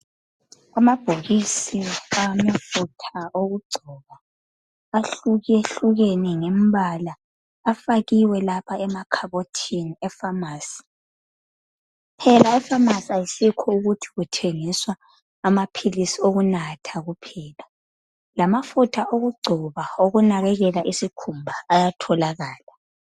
Amabhokisi amafutha okugcoba ahlukehlukene ngembala afakiwe lapha emakhabotini efamasi emafamasi asikho ukuthi kuthengiswa amaphilisi okunatha kuphela lamafutha okugcoba okunakekela isikhumba ayatholakala